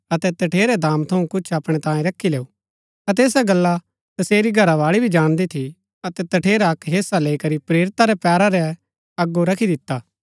अतै तठेरै दाम थऊँ कुछ अपणै तांई रखी लैऊ अतै ऐसा गल्ला तसेरी घरावाळी भी जाणदी थी अतै तठेरा अक्क हेसा लैई करी प्रेरिता रै पैरा रै अगो रखी दिता